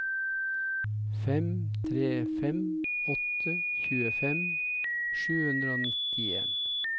fem tre fem åtte tjuefem sju hundre og nittien